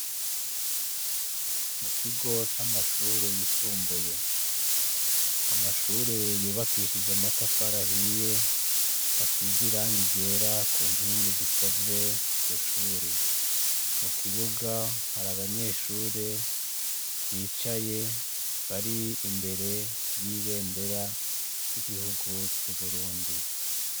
Mu kigo c' amashure yisumbuye. Amashure yubakishije amatafari ahiye, asize irangi ryera ku nkingi zikoze iryo shuri. Mu kibuga hari abanyeshure bicaye bari imbere y' ibendera ry' igihugu c' Uburundi.